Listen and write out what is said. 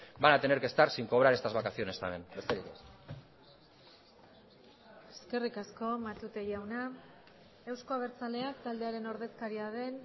van a tener que estar sin cobrar estas vacaciones también besterik ez eskerrik asko matute jauna euzko abertzaleak taldearen ordezkaria den